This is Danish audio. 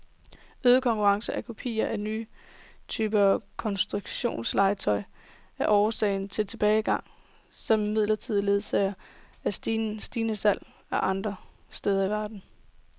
Øget konkurrence fra kopier og nye typer konstruktionslegetøj er årsag til tilbagegangen, som imidlertid ledsages af stigende salg andre steder i verden.